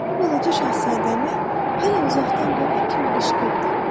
Bu, Balaca Şahzadəni hələ uzaqdan görən kimi qışqırdı: